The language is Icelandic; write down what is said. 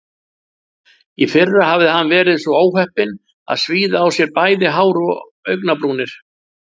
Í fyrra hafði hann verið svo óheppinn að svíða á sér bæði hár og augnabrúnir.